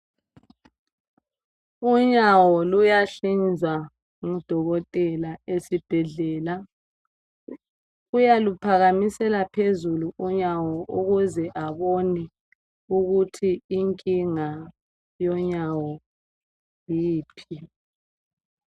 Unyawo luyahlinzwa ngudokotela esibhedlela. Uyaluphakhamisela phezulu unyawo ukuze abone ukuthi inkinga yonyawo yiphi.